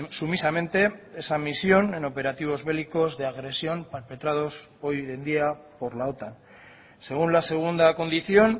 sumisamente esa misión en operativos bélicos de agresión perpetrados hoy en día por la otan según la segunda condición